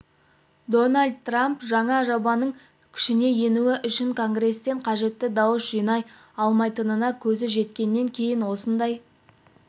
дональд трамп жаңа жобаның күшіне енуі үшін конгресстен қажетті дауыс жинай алмайтынына көзі жеткеннен кейін осындай